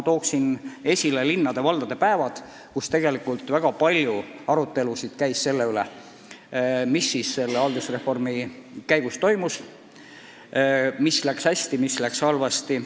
Tooksin esile linnade-valdade päevad, kus on olnud väga palju arutelusid selle üle, mis ikkagi reformi käigus on toimunud, mis on läinud hästi ja mis halvasti.